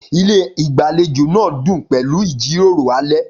Ilé ìgbàlejò náà dún pẹ̀lú ìjíròrò alẹ́.